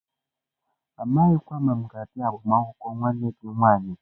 Amaghịkwa m ma mga abia agbamakwụkwọ nwanne gi nwanyi.